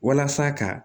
Walasa ka